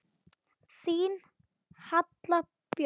Þín Halla Björk.